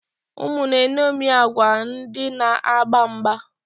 Ụmụ na-eṅomie agwa ndị na-agba mgba.